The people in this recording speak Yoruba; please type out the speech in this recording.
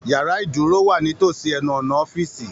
Yàrá ìdúró wa nítòsí ẹnu ọnà ọ̀fiísí.